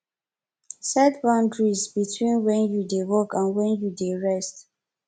set boundaries beween when you dey work and when you dey rest